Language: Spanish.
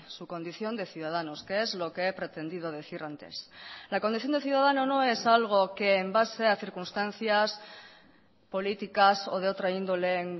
su condición de ciudadanos que es lo que he pretendido decir antes la condición de ciudadano no es algo que en base a circunstancias políticas o de otra índole en